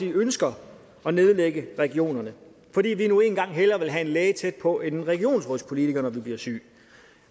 ønsker at nedlægge regionerne fordi vi nu engang hellere vil have en læge tæt på end en regionsrådspolitiker når vi blive syge